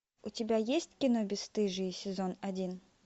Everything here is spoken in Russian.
у тебя есть кино бесстыжие сезон один